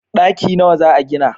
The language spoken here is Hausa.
daki nawa za a gina?